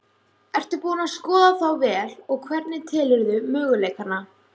Ertu búin að skoða þá vel og hvernig telurðu möguleikana?